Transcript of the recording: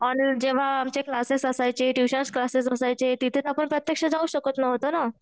जेंव्हा आमचे क्लासेस असायचे, ट्युशन्स क्लासेस असायचे तिथे आपण प्रत्यक्ष जाऊ शकत नव्हतो ना